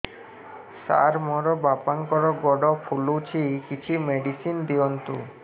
ସାର ମୋର ବାପାଙ୍କର ଗୋଡ ଫୁଲୁଛି କିଛି ମେଡିସିନ ଦିଅନ୍ତୁ